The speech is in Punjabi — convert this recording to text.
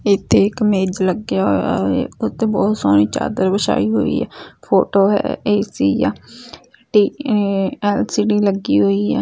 ਇਥੇ ਇੱਕ ਮੇਜ ਲੱਗਿਆ ਹੋਇਆ ਹੈ ਉੱਤੇ ਬਹੁਤ ਸੋਹਣੀ ਚਾਦਰ ਵਿਛਾਈ ਹੋਈ ਹੈ ਫੋਟੋ ਹੈ ਏ_ਸੀ ਆ ਤੇ ਐਲ_ਸੀ_ਡੀ ਲੱਗੀ ਹੋਈ ਆ।